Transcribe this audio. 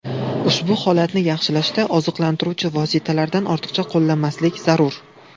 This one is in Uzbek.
Ushbu holatni yaxshilashda oziqlantiruvchi vositalardan ortiqcha qo‘llamaslik zarur.